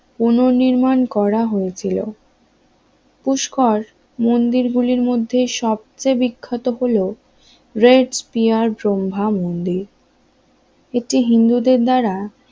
পুনঃ নির্মাণ করা হয়েছিল পুষ্কর মন্দির গুলির মধ্যে সবচেয়ে বিখ্যাত হলো রেড স্পিয়ার ব্রহ্মা মন্দির এটি হিন্দুদের দ্বারা